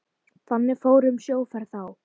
Þannig fór um sjóferð þá.